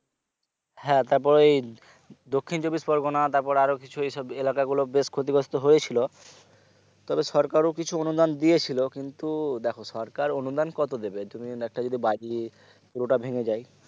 হ্যাঁ তারপর এই দক্ষিণ চব্বিশ পরগনা তারপর আরো কিছু এইসব এলাকা গুলো বেশ ক্ষতিগ্রস্ত হয়েছিল তবে সরকারও কিছু অনুদান দিয়েছিলো কিন্তু দেখো সরকার অনুদান কত দেবে তুমি যদি একটা যদি বাড়ি পুরোটা ভেঙে যায়